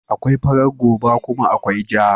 Akwai farar goba kuma akwai ja.